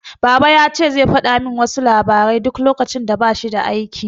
Baba yace zai fada min wasu labarai duk lokacin da bashi da aiki